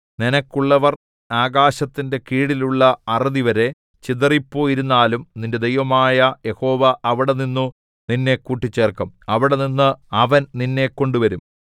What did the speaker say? നിനക്കുള്ളവർ ആകാശത്തിന്റെ കീഴിലുള്ള അറുതിവരെ ചിതറിപ്പോയിരുന്നാലും നിന്റെ ദൈവമായ യഹോവ അവിടെനിന്നു നിന്നെ കൂട്ടിച്ചേർക്കും അവിടെനിന്ന് അവൻ നിന്നെ കൊണ്ടുവരും